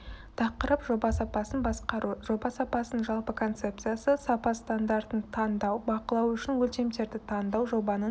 тақырып жоба сапасын басқару жоба сапасының жалпы концепциясы сапа стандартын таңдау бақылау үшін өлшемдерді таңдау жобаның